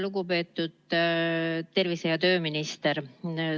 Lugupeetud tervise- ja tööminister!